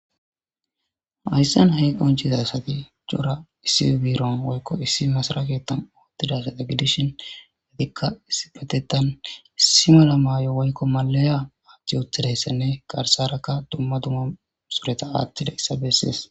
ayssen hey qonciza sati cora issi biiron woykko issi masaraketam oottidasata gidishin adikka isipetetan issi mala maay7o woykko malaya aachchi uthadayssenne garsarakka dumma duma sureta aattida issa bessees